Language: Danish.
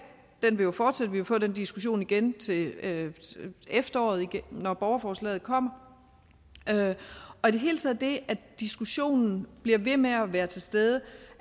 den vil jo forsætte vi vil få den diskussion igen til efteråret når borgerforslaget kommer og i det hele taget det at diskussionen bliver ved med at være til stede